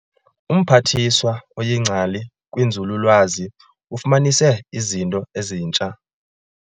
UMphathiswa oyingcali kwinzululwazi ufumanise izinto ezintsha.